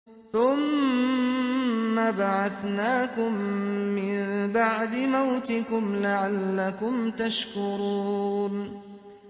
ثُمَّ بَعَثْنَاكُم مِّن بَعْدِ مَوْتِكُمْ لَعَلَّكُمْ تَشْكُرُونَ